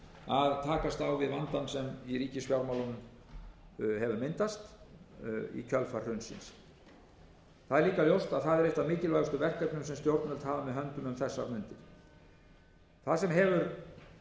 að takast á við vandann sem í ríkisfjármálunum hefur myndast í kjölfar hrunsins það er líka ljóst að það er eitt af mikilvægustu verkefnum sem stjórnvöld hafa með höndum um þessar mundir það sem hefur